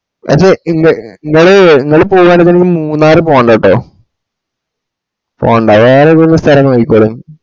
പഷെ ഇങ്ങ ഇങ്ങള് ഇങ്ങള് പോകാനെ മൂന്നാർ പൊണ്ടാട്ടോ പോണ്ട. വേറെ ഇത്‌പോലെ സ്തലം നോയ്‌ക്കോളിൻ